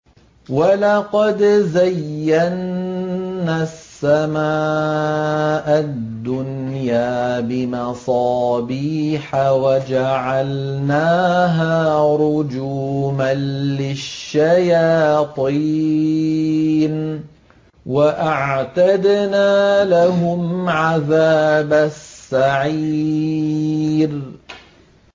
وَلَقَدْ زَيَّنَّا السَّمَاءَ الدُّنْيَا بِمَصَابِيحَ وَجَعَلْنَاهَا رُجُومًا لِّلشَّيَاطِينِ ۖ وَأَعْتَدْنَا لَهُمْ عَذَابَ السَّعِيرِ